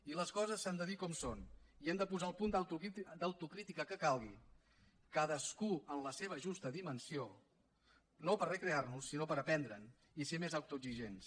i les coses s’han de dir com són i hem de posar el punt d’autocrítica que calgui cadascú en la seva justa dimensió no per recrear nos sinó per aprendre’n i ser més autoexigents